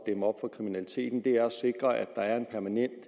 dæmme op for kriminaliteten er at sikre at der er en permanent